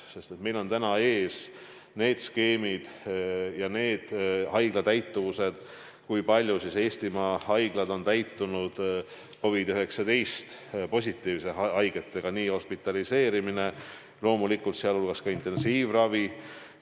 Meil on ees need skeemid ja haiglate täituvuse andmed, kui palju on Eesti haiglad täitunud COVID-19-positiivsete haigetega – nii tavaline hospitaliseerimine kui loomulikult ka intensiivravi.